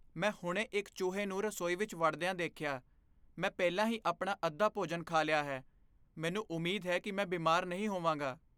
ਮੈਂ ਹੁਣੇ ਇੱਕ ਚੂਹੇ ਨੂੰ ਰਸੋਈ ਵਿੱਚ ਵੜਦਿਆਂ ਦੇਖਿਆ। ਮੈਂ ਪਹਿਲਾਂ ਹੀ ਆਪਣਾ ਅੱਧਾ ਭੋਜਨ ਖਾ ਲਿਆ ਹੈ। ਮੈਨੂੰ ਉਮੀਦ ਹੈ ਕਿ ਮੈਂ ਬਿਮਾਰ ਨਹੀਂ ਹੋਵਾਂਗਾ।